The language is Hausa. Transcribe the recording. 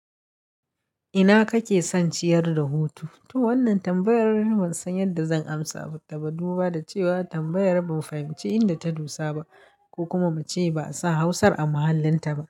Ina kake son ciyar da hutu? To wannan tambayar ban san yadda zan amsa, amma duba da cewa tambayar ban fahimci inda ta dosa ba ko kuma mace ba sa Hausar a muhallinta ba.